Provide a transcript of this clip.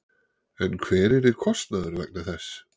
En hver yrði kostnaður vegna þess?